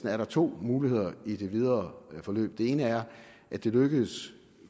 er to muligheder i det videre forløb den ene er at det lykkes